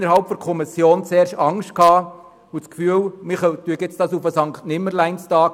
Innerhalb der Kommission bestand die Befürchtung, man verschiebe diese Regelung auf den Sankt-Nimmerleins-Tag.